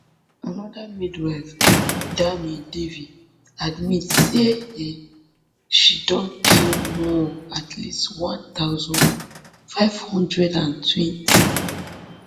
anoda midwife dharmi devi admit say um she don kill more at least one thousand, five hundred and twenty